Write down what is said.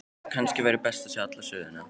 Kannski væri best að segja alla söguna.